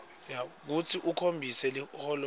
kutsi ukhombise liholonchanti